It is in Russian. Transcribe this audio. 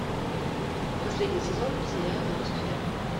последний сезон сериала люцифер